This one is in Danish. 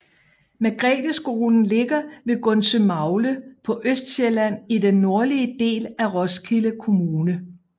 Margretheskolen ligger ved Gundsømagle på Østsjælland i den nordlige del af Roskilde Kommune